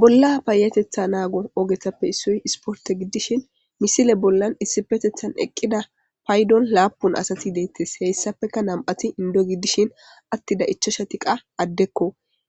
bolla payetetha naago ogetappe issoy isporte giddishin misile bollan issi petethan eqqida paydon laapun asati deettes heyssapeka nam7ati indo giddishin attida ichoshatiqa addekko